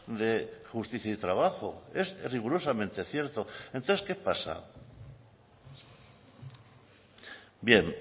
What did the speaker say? de justicia y trabajo es rigurosamente cierto entonces qué pasa bien